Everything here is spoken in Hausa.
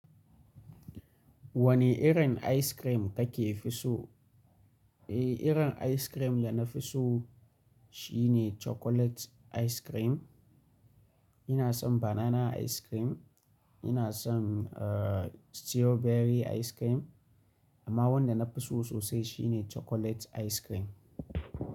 Wane irin ice cream kake fi so? Eh, irin ice cream da na fi so shi ne chocolate ice cream. Ina son banana ice cream, ina son, uh, strawberry ice cream amma wanda na fi so sosai shi ne chocolate ice cream.